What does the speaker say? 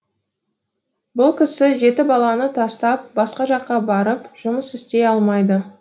бұл кісі жеті баланы тастап басқа жаққа барып жұмыс істей алмайды